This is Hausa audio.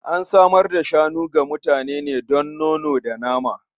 An samar da shanu ga mutane ne don nono da nama.